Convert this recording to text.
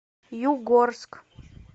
югорск